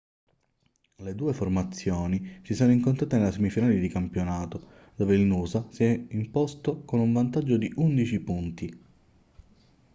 le due formazioni si sono incontrate nella semifinale di campionato dove il noosa si è imposto con un vantaggio di 11 punti